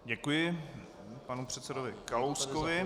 Děkuji panu předsedovi Kalouskovi.